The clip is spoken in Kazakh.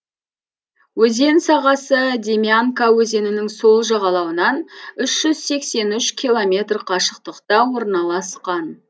өзен сағасы демьянка өзенінің сол жағалауынан үш жүз сексен үш километр қашықтықта орналасқан